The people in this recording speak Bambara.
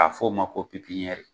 K'a f'o ma ko .